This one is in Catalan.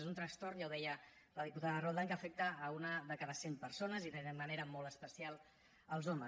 és un trastorn ja ho deia la diputada roldán que afecta una de cada cent persones i de manera molt especial els homes